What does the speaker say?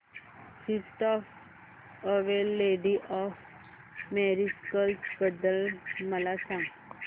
feast of Our Lady of Miracles बद्दल मला सांगा